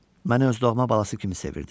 Məni öz doğma balası kimi sevirdi.